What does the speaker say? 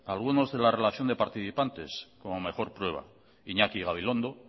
algunos de la relación de participantes como mejor prueba iñaki gabilondo